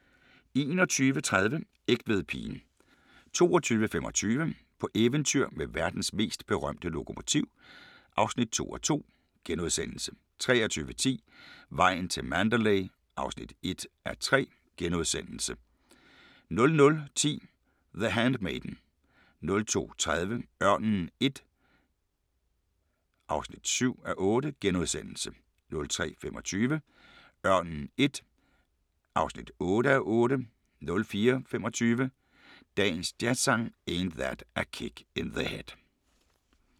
21:30: Egtvedpigen 22:25: På eventyr med verdens mest berømte lokomotiv (2:2)* 23:10: Vejen til Mandalay (1:3)* 00:10: The Handmaiden 02:30: Ørnen I (7:8)* 03:25: Ørnen I (8:8) 04:25: Dagens Jazzsang: Ain't That a Kick in the Head *